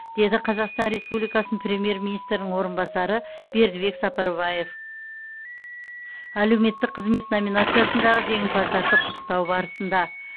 деді қазақстан республикасының премьер министрінің орынбасары бердібек сапарбаев әлеуметтік қызмет номинациясындағы жеңімпаздарды құттықтау барысында